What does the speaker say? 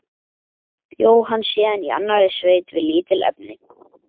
Bjó hann síðan í annarri sveit við lítil efni.